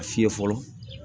A fiyɛ fɔlɔ